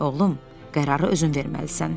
Oğlum, qərarı özün verməlisən.